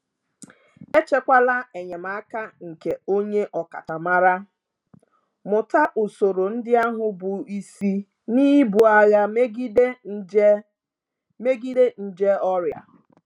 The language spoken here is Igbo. Echekwala enyemaka nke onye ọkachamara, mụta usoro ndị ahụ bụ isi n'ibu agha megide nje megide nje ọrịa.